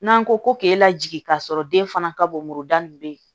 N'an ko ko k'e lajigi k'a sɔrɔ den fana ka bɔnyɔrɔ nin be yen